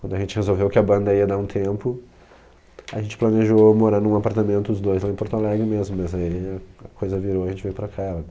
Quando a gente resolveu que a banda ia dar um tempo, a gente planejou morar num apartamento os dois lá em Porto Alegre mesmo, mas aí a coisa virou e a gente veio para cá.